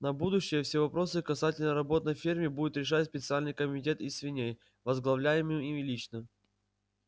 на будущее все вопросы касательно работ на ферме будет решать специальный комитет из свиней возглавляемый им лично